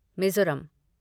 Mizoram